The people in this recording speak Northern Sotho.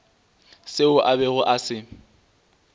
seo a bego a se